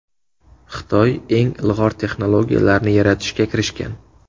Xitoy eng ilg‘or texnologiyalarni yaratishga kirishgan.